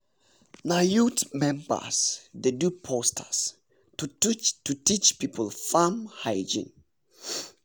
na youth members dey do posters to teach people farm hygiene.